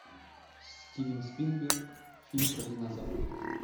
стивен спилберг фильм про динозавров